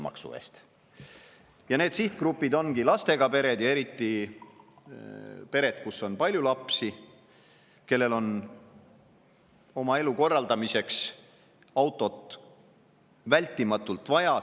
sihtgrupp ongi lastega pered ja eriti pered, kus on palju lapsi, kellel on oma elu korraldamiseks autot vältimatult vaja.